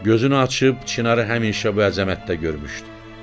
Gözünü açıb çinarı həmişə bu əzəmətdə görmüşdü.